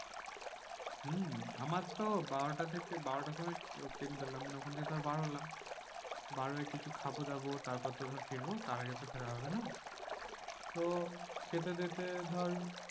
হম আমার তো বারোটা থেকে বারোটার সময় ট্রেন ধরলাম নিয়ে ওখান থেকে ধর বার হলাম। বার হয়ে কিছু খাবো দাবো তারপর ধর ফিরবো? তার আগে তো ফেরা হবে না? তো খেতে খেতে ধর